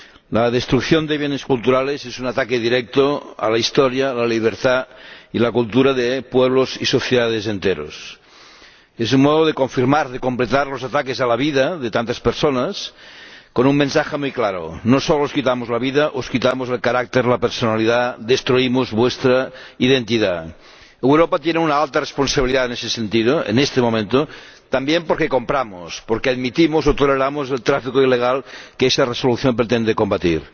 La destrucción de bienes culturales es un ataque directo a la historia, la libertad y la cultura de pueblos y sociedades enteros. Es un modo de confirmar, de completar los ataques a la vida de tantas personas con un mensaje muy claro No solo os quitamos la vida, os quitamos el carácter, la personalidad, destruimos vuestra identidad. Europa tiene una alta responsabilidad en ese sentido ―en este momento― también porque compramos, porque admitimos o toleramos el tráfico ilegal que esta Resolución pretende combatir.